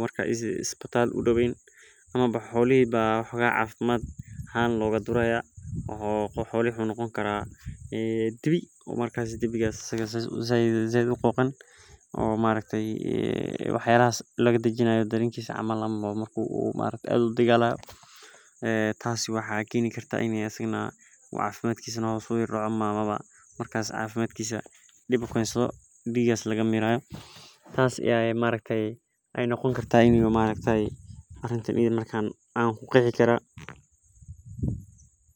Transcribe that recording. marka waxaa dici kartaa marki u dagalo marka waxaa dici kartaa in cafimadkisa u hos imadho tas ayan ku qeexi kara mark sas waye sitha ee muhiim ogu tahay bulshaada daxdedha waxena hos udigta cafimaadka xolaha.